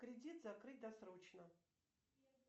кредит закрыть досрочно